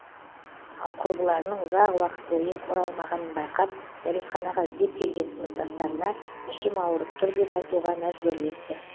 ал құрбыларының ұзақ уақыт бойы орламағанын байқап дәретханаға іздеп келген сыныптастарына ішім ауырып тұр деп айтуға мәжбүрлепті